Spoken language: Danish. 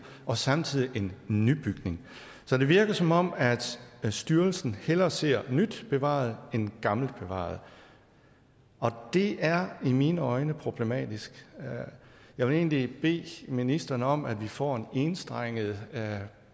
og samtidig en nybygning så det virker som om styrelsen hellere ser nyt bevaret end gammelt bevaret og det er i mine øjne problematisk jeg vil egentlig bede ministeren om at vi får en enstrenget